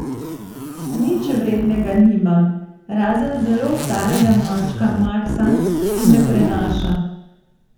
Nič vrednega nimam, razen zelo starega mačka Maksa, ki me prenaša.